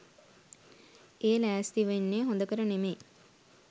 ඒ ලෑස්ති වෙන්නේ හොඳකට නෙමෙයි.